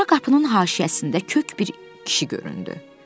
Sonra qapının haşiyəsində kök bir kişi göründü.